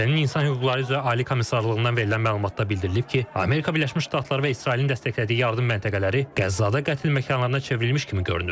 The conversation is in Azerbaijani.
BMT-nin İnsan Hüquqları üzrə Ali Komissarlığından verilən məlumatda bildirilib ki, Amerika Birləşmiş Ştatları və İsrailin dəstəklədiyi yardım məntəqələri Qəzzada qətl məkanlarına çevrilmiş kimi görünür.